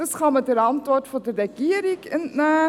das kann man der Antwort der Regierung entnehmen.